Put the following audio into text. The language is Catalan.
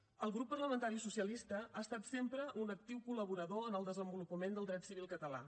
el grup parlamentari socialista ha estat sempre un actiu col·laborador en el desenvolupament del dret civil català